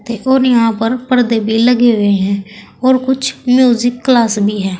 और यहां पर पर्दे भी लगे हुए हैं और कुछ म्यूजिक क्लास भी है।